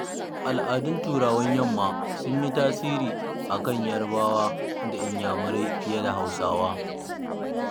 Al'adun Turawan yamma sun yi tasiri akan Yarabawa da Inyamurai fiye da Hausawa.